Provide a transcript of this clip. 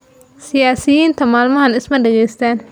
Siyaasiyiinta maalmahan isma dhegaystaan